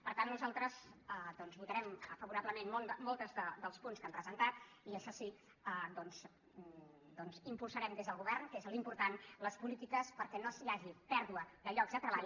per tant nosaltres votarem favorablement molts dels punts que han presentat i això sí impulsarem des del govern que és l’important les polítiques perquè no hi hagi pèrdua de llocs de treball